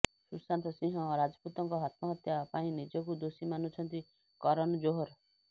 ସୁଶାନ୍ତ ସିଂହ ରାଜପୁତଙ୍କ ଆତ୍ମହତ୍ୟା ପାଇଁ ନିଜକୁ ଦୋଷୀ ମାନୁଛନ୍ତି କରନ ଜୋହର